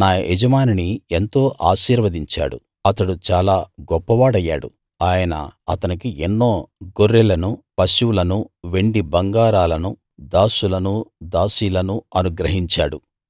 నా యజమానిని ఎంతో ఆశీర్వదించాడు అతడు చాలా గొప్పవాడయ్యాడు ఆయన అతనికి ఎన్నో గొర్రెలనూ పశువులనూ వెండీ బంగారాలనూ దాసులనీ దాసీలనూ అనుగ్రహించాడు